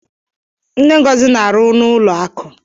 Nne Ngọzi n'arụ n'ụlọ akụ.